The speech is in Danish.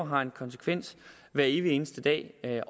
har en konsekvens hver evig eneste dag